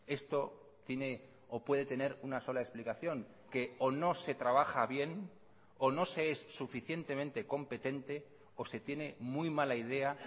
esto tiene o puede tener una sola explicación que o no se trabaja bien o no se es suficientemente competente o se tiene muy mala idea